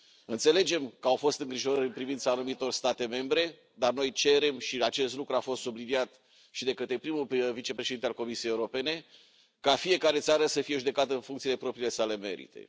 Înțelegem că au fost îngrijorări în privința anumitor state membre, dar noi cerem și acest lucru a fost subliniat și de către prim vicepreședintele Comisiei Europene ca fiecare țară să fie judecată în funcție de propriile merite.